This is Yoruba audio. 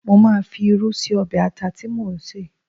Mo máa fi irú sí ọbẹ̀ ata tí mò ń sè